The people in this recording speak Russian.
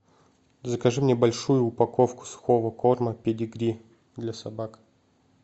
закажи мне большую упаковку сухого корма педигри для собак